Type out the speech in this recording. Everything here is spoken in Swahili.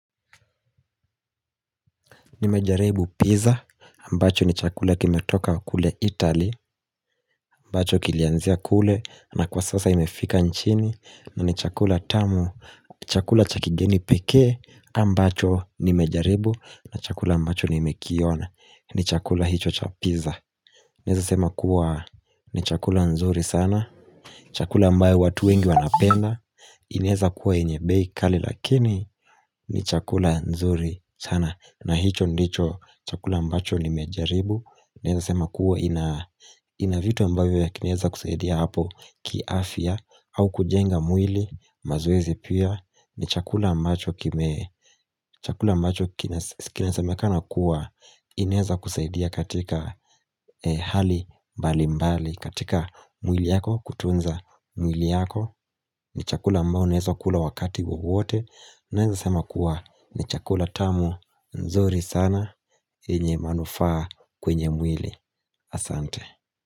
Nimejaribu pizza, ambacho ni chakula kimetoka kule Italy, ambacho kilianzia kule, na kwa sasa imefika nchini, na ni chakula tamu, chakula cha kigeni pekee, ambacho nimejaribu, na chakula ambacho nimekiona, ni chakula hicho cha pizza Naeza sema kuwa ni chakula nzuri sana Chakula ambayo watu wengi wanapenda inaeza kuwa yenye bei kali lakini ni chakula nzuri sana na hicho ndicho chakula ambacho nimejaribu Naeza sema kuwa ina vitu ambavyo vinaeza kusaidia hapo kiafia au kujenga mwili mazoezi pia ni chakula ambacho kinasemekana kuwa inaeza kusaidia katika hali mbali mbali katika mwili yako kutunza mwili yako ni chakula ambayo unaeza kula wakati wowote naeza sema kuwa ni chakula tamu nzuri sana yenye manufaa kwenye mwili. Asante